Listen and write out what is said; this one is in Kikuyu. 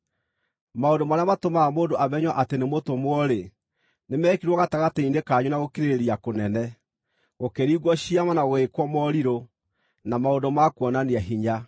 Maũndũ marĩa matũmaga mũndũ amenywo atĩ nĩ mũtũmwo-rĩ, nĩmekirwo gatagatĩ-inĩ kanyu na gũkirĩrĩria kũnene: gũkĩringwo ciama, na gũgĩĩkwo morirũ, na maũndũ ma kuonania hinya.